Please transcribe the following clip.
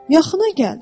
"Yaxına gəl.